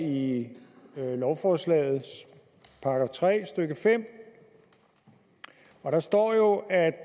i lovforslagets § tre stykke femte der står jo at